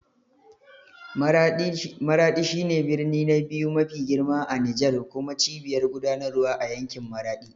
Maraɗi shi ne birni na biyu mafi girma a Nijar kuma cibiyar gudanarwa a yankin Maradi.